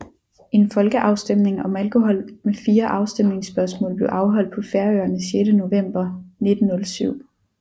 En folkeafstemning om alkohol med fire afstemningsspørgsmål blev afholdt på Færøerne 6 november 1907